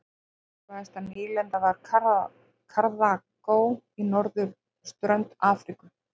Mikilvægasta nýlendan var Karþagó á norðurströnd Afríku.